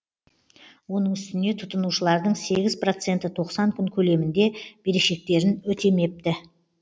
оның үстіне тұтынушылардың сегіз проценті тоқсан күн көлемінде берешектерін өтемепті